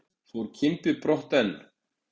Fór Kimbi brott en